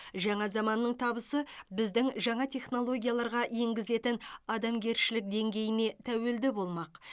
жаңа заманның табысы біздің жаңа технологияларға енгізетін адамгершілік деңгейіне тәуелді болмақ